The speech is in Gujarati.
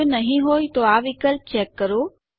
જો નહિં હોય તો આ વિકલ્પ ચેક કરો